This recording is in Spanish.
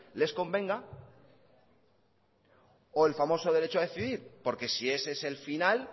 les convenga o el famoso derecho a decidir porque si ese es el final